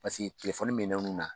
Paseke minɛn n'u na.